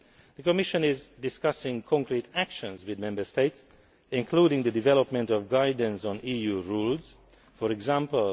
The Commission is discussing concrete actions with the Member States, including the development of guidance on EU rules, for example